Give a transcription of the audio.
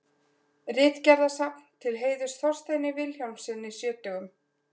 Ritgerðasafn til heiðurs Þorsteini Vilhjálmssyni sjötugum.